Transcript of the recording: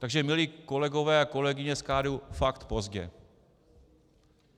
Takže milé kolegyně a kolegové z KDU, fakt pozdě.